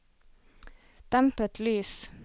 dempet lys